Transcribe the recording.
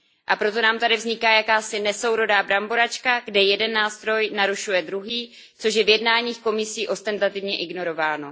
A proto nám tady vzniká jakási nesourodá bramboračka, kde jeden nástroj narušuje druhý, což je v jednáních Komisí ostentativně ignorováno.